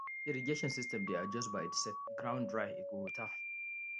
irrigation system dey adjust by itself ground dry e go water